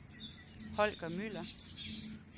Holger Müller